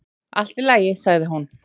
"""Allt í lagi, sagði hún."""